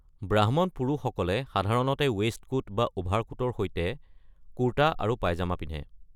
ব্ৰাহ্মণ পুৰুষসকলে সাধাৰণতে ৱেইষ্টকোট বা অভাৰকোটৰ সৈতে কুৰ্তা আৰু পায়জামা পিন্ধে।